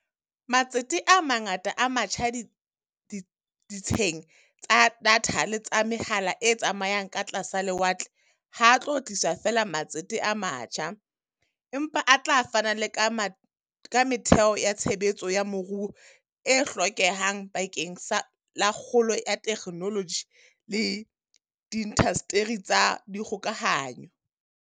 Matsete a mangata a matjha ditsheng tsa datha le tsa mehala e tsamayang ka tlasa lewatle ha a tlo tlisa feela matsete a matjha, empa a tla fana le ka metheo ya tshebetso ya moruo e hlokehang bakeng la kgolo ya theknoloji le diindasteri tsa dikgokahano.